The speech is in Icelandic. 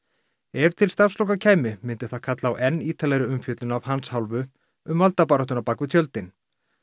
ef til starfsloka kæmi myndi það kalla á enn ítarlegri umfjöllun af hans hálfu um valdabaráttuna bak við tjöldin